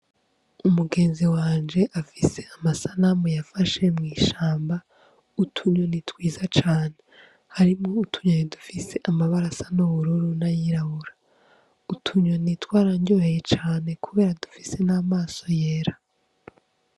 Umugenzi wanje afise amasanamu yafashe mw'ishamba utu nyoni twiza cane harimwo utunyoni dufise amabara y' ubururu n' ayirabura utu nyoni twaranryoheye cane kubera dufise n' amaso yera.